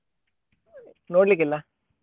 ನೋಡ್ಲಿಕ್ಕಿಲ್ಲ.